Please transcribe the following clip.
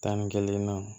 Tan ni kelen na